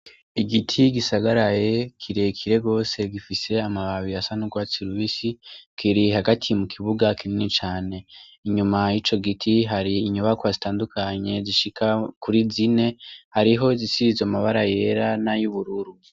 Igiti gisagaraye kirekire gose gifise amababi asa n'urwatsi rubisi, kiri hagati mu kibuga kinini cane. Inyuma y'ico giti hari inyubakwa zitandukanye zishika kuri zine, hariho izisize amabara yera n'ay'ubururu.